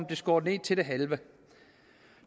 blev skåret ned til det halve